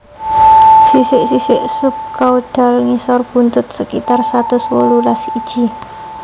Sisik sisik subkaudal ngisor buntut sekitar satus wolulas iji